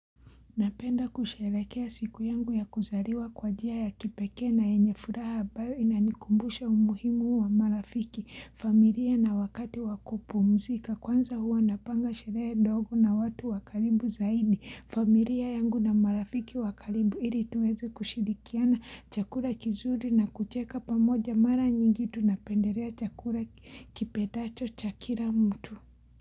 Napenda kusherekea siku yangu ya kuzariwa kwa jia ya kipekee na yenyefuraha abayo inanikumbusha umuhimu wa marafiki, familia na wakati wakupumzika kwanza huwa napanga sherehe dogo na watu wakalibu zaidi, familia yangu na marafiki wakalibu ili tuweze kushirikiana chakura kizuri na kucheka pamoja mara nyingi tunapenderea chakura kipedacho cha kila mtu.